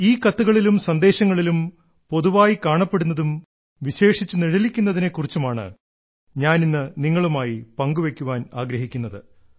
ഈ കത്തുകളിലും സന്ദേശങ്ങളിലും പൊതുവായി കാണപ്പെടുന്നതും വിശേഷിച്ചു നിഴലിക്കുന്നതിനെ കുറിച്ചുമാണ് ഞാൻ ഇന്നു നിങ്ങളുമായി പങ്കുവെയ്ക്കാൻ ആഗ്രഹിക്കുന്നത്